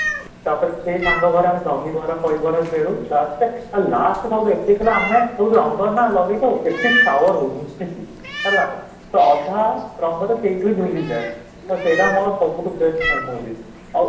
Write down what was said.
ତାପରେ ସେଇ ତାଙ୍କଘରେ ଆମେ ଦହିବରା ବରା ଆମେ ଖେଳୁ last ରେ ଆଉ last ଏତିକି ଥିଲା ଆମେ ରଙ୍ଗନା ଲଗେଇ ଥାଉ ଏତେ sewer ହଉ ମିଶିକି ହେଲା ତ ଅଧା ରଙ୍ଗ ତ ସେଇଠି ଧୁଲି ଯାଏ, ତ ସେଇଟା ମୋର ସବୁଠୁ best memory ଆଉ